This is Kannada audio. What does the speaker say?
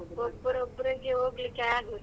ಹೌದು ಒಬ್ರೆ ಒಬ್ರಿಗೆ ಹೋಗ್ಲಿಕ್ಕೆ ಆಗುದಿಲ್ಲ.